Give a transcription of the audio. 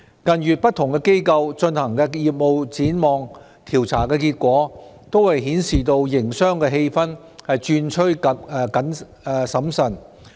近月不同機構進行的業務展望調查結果均顯示營商氣氛轉趨審慎。